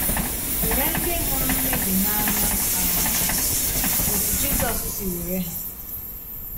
Wèrè Ndị Hụrụ̀ Mmèbí n’Anya um Otú Jizọs Si Wèrè Ha